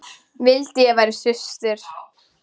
Vildi ég væri systir.